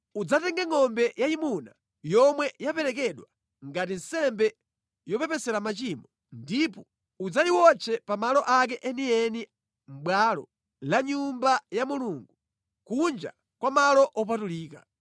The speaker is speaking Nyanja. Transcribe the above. Udzatenge ngʼombe yayimuna yomwe yaperekedwa ngati nsembe yopepesera machimo, ndipo udzayiwotche pa malo ake enieni mʼbwalo la Nyumba ya Mulungu, kunja kwa malo opatulika.